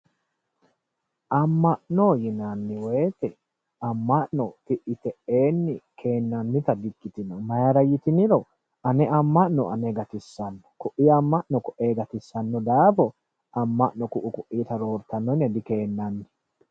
Amma'no yinanni woyte amma'no ti"i te"enni keennannita di ikkitino mayra yitiniro ane amma'no ane gatissanno, ko"i amma'no ko"e gatissanno daafo amma'no koi ko'itta roortanno yine dikeennanni.